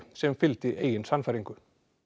sem fylgdi eigin sannfæringu